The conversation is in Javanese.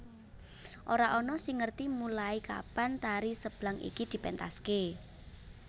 Ora ana sing ngerti mulai kapan tari Seblang iki dipentaske